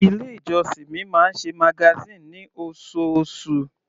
Ilé ìjọsìn mi máa ń ṣe magazine ní osoosù.